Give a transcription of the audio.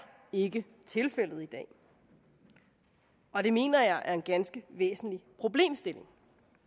ikke tilfældet i dag og det mener jeg er en ganske væsentlig problemstilling